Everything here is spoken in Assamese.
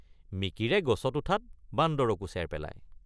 মিকিৰে গছত উঠাত বান্দৰকো চেৰ পেলায়।